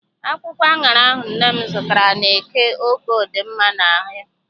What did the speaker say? Akwụkwọ aṅara ahụ nne m zụtara n'eke Oko dị m mma n'ahụ.